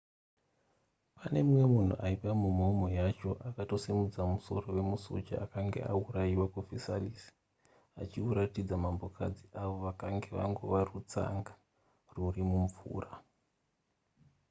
pane mumwe munhu aiva mumhomho yacho akatombosimudza musoro wemusoja akanga auraiwa kuversailles achiutaridza mambokadzi avo vakanga vangova serutsanga ruri mumvura